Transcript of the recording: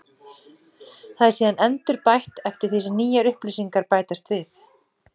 Það er síðan endurbætt eftir því sem nýjar upplýsingar bætast við.